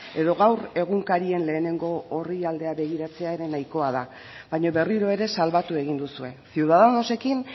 edo gaur egunkarien lehenengo orrialdea begiratzea ere nahikoa da baina berriro ere salbatu egin duzue ciudadanosekin